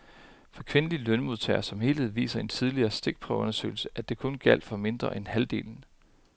For kvindelige lønmodtagere som helhed viser en tidligere stikprøveundersøgelse, at det kun gjaldt for mindre end halvdelen.